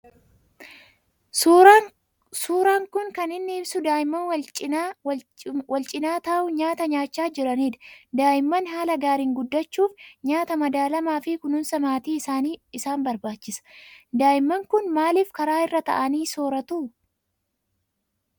Suuraan kan kan inni ibsu daa'imman wal cimaa taa'uun nyaata nyaachaa jiran dha. Daa'imman haala gaariin guddachuuf nyaata madaalamaafi kununsa maatii isaan barbaachisa. Daa'imman kun maaliif karaa irra taa'anii sooratuu?